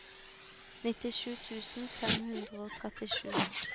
nittisju tusen fem hundre og trettisju